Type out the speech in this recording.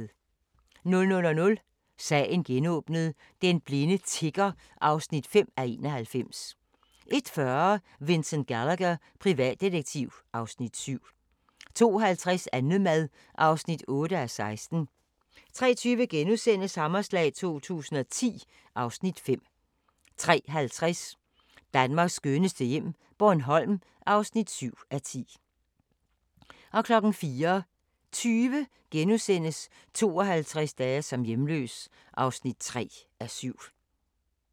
00:00: Sagen genåbnet: Den blinde tigger (5:91) 01:40: Vincent Gallagher, privatdetektiv (Afs. 7) 02:50: Annemad (8:16) 03:20: Hammerslag 2010 (Afs. 5)* 03:50: Danmarks skønneste hjem - Bornholm (7:10) 04:20: 52 dage som hjemløs (3:7)*